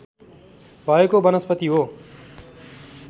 भएको वनस्पति हो